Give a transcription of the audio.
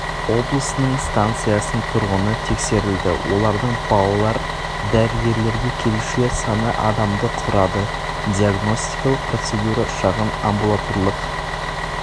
облсының станциясының тұрғыны тексерілді олардың балалар дәрігерлерге келушілер саны адамды құрады диагностикалық процедура шағын амбулаторлық